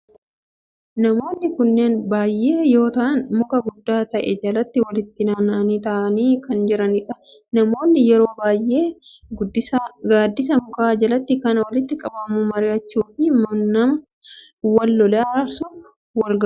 Namoonni kunneen baayyee yoo ta'aan muka guddaa ta'e jalatti walitti naanna'aanii ta'aanii kan jiranidha. Namoonni yeroo baayyee gaaddisa mukaa jalatti kan walitti qabamu mari'achuu fi nama wal lole araarsuf walgaha.